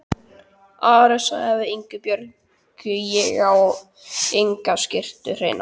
Ari sagði við Ingibjörgu: Ég á enga skyrtu hreina.